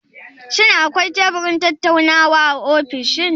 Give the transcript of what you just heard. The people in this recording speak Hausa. Shin akwai teburin tattaunawa a ofishin?